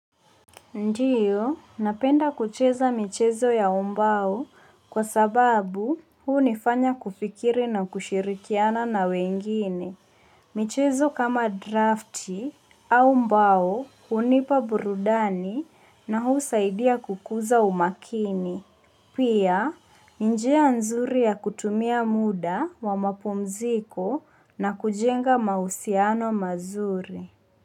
Ndiyo, napenda kucheza michezo ya umbao kwa sababu hunifanya kufikiri na kushirikiana na wengine. Michezo kama drafti au mbao hunipa burudani na husaidia kukuza umakini. Pia, njia nzuri ya kutumia muda wa mapumziko na kujenga mahusiano mazuri.